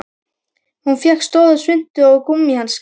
Hún fékk stóra svuntu og gúmmíhanska.